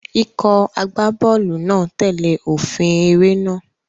Ikọ̀ agbábọ́ọ̀lù náà tẹ̀lé òfin eré náà.